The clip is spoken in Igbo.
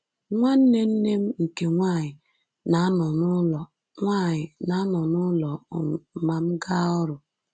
Nwanne nne m nke nwanyị na-anọ n’ụlọ nwanyị na-anọ n’ụlọ um ma m gaa ọrụ.”